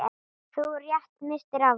Þú rétt misstir af honum.